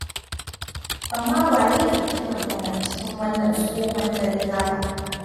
Amma waye ke kiran waya cikin wannan tsohon dare haka?